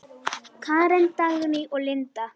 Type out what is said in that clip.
Karen, Dagný og Linda.